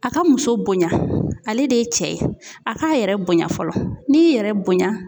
A ka muso bonya, ale de ye cɛ ye, a k'a yɛrɛ bonya fɔlɔ, n'i y'i yɛrɛ bonya